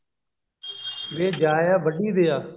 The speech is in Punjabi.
ਵੇ ਜਾਇਆ ਵੱਢੀ ਦਿਆ